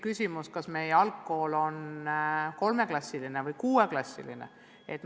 Näiteks, kas meie algkool on 3-klassiline või 6-klassiline?